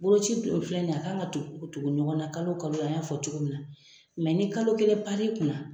Boloci dun filɛ nin ye a kan ka tugu tugu ɲɔgɔn na kalo kalo an y'a fɔ cogo min na ni kalo kelen pan n'i kunna